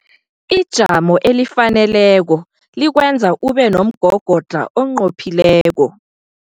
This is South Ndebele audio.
Ijamo elifaneleko likwenza ube nomgogodlha onqophileko.